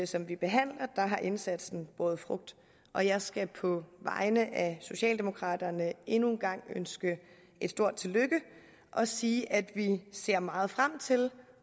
som vi behandler har indsatsen båret frugt og jeg skal på vegne af socialdemokraterne endnu en gang ønske et stort tillykke og sige at vi ser meget frem til